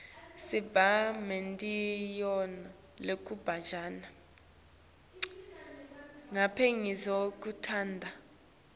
siba nemidlalo yekujabulela lihlobo